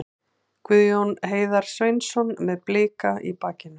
Guðjón Heiðar Sveinsson með Blika í bakinu.